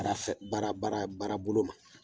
Baara fɛ baara baara baara bolo ma